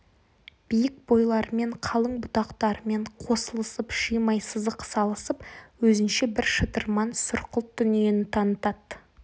биік бойларымен қалың бұтақтарымен қосылысып шимай сызық салысып өзінше бір шытырман сұрқылт дүниені танытады